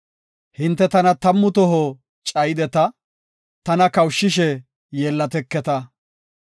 Hinte tana tammu toho cayideta; tana kawushishe yeellateketa.